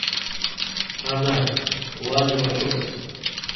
она ланы вачевски